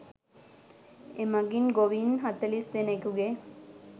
එමගින් ගොවීන් හතළිස් දෙනකුගේ